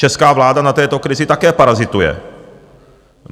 Česká vláda na této krizi také parazituje.